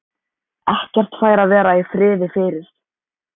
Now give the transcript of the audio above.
Ekkert fær að vera í friði fyrir